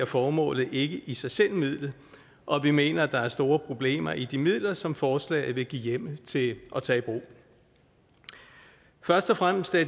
formålet i i sig selv midlet vi mener at der er store problemer i de midler som forslaget vil give hjemmel til at tage i brug først og fremmest er